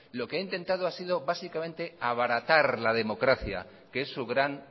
lo que ha intentado ha sido básicamente abaratar la democracia que es su gran